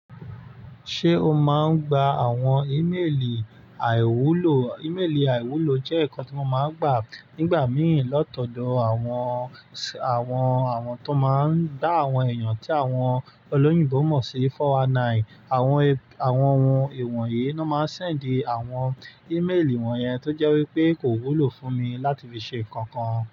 Ṣé o máa ń gba àwọn ímélì àìwúlò? Ímélì àìwúlò jẹ́ nǹkan tí wọ́n máa ń gbà nígbà mìíràn latọ̀dọ̀ àwọn, àwọn, àwọn tó máa ń dá àwọn èèyàn tí àwọn olóyìnbó mọ̀ sí "four one nine". Àwọn ẹ, àwọn ọ̀hún iwọ̀n yìí ni wọ́n máa ń sẹ̀nd àwọn ímélì wọ́n yẹn tó jẹ́ wípé kò wúlò fún mi láti fi ṣe nǹkan kan.